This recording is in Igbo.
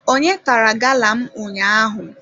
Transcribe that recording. Onye tara gala m ụnyaahụ?